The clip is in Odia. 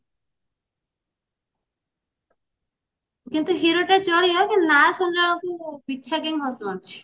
ଇଏ ତ hero ତ ଚଳିବ କିନ୍ତୁ ନା ଶୁଣିଲା ବେଳକୁ ବିଛା କାଇଁ ହସ ମାଡୁଛି